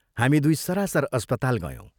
हामी दुइ सरासर अस्पताल गयौं।